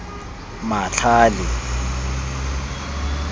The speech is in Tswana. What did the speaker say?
matlhale